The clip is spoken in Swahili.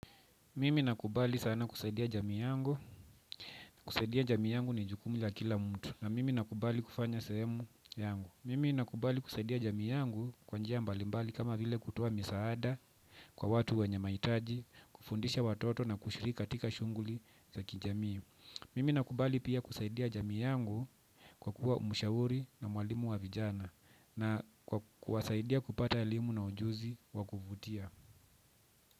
Mimi nakubali sana kusaidia jamii yangu. Kusaidia jamii yangu ni jukumu la kila mtu. Na mimi nakubali kufanya sehemu yangu. Mimi nakubali kusaidia jamii yangu kwa njia mbalimbali kama vile kutoa misaada kwa watu wenye mahitaji, kufundisha watoto na kushiri katika shughuli za kijamii. Mimi nakubali pia kusaidia jamii yangu kwa kuwa mshauri na mwalimu wa vijana na kwa kuwasaidia kupata elimu na ujuzi wa kuvutia.